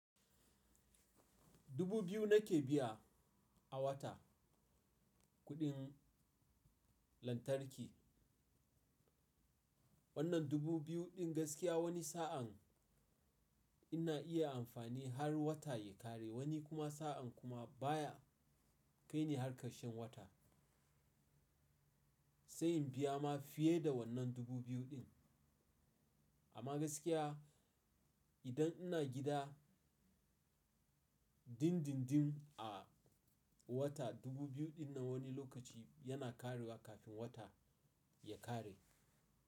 Dubu biyu nake biya a wata kuɗin lantarki. Wannan dubu biyu ɗin gaskiya wani sa'an ina iya amfani har wata ya ƙare, wani kuma sa'an kuma baya kai ni har ƙarshen wata. Sai in biya ma fiye da wannan dubu biyu ɗin. Amma gaskiya idan ina gida dim dim dim a wata dubu biyu ɗin nan wani lokaci yana ƙarewa kafin wata ya ƙare.